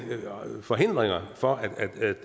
forhindringer for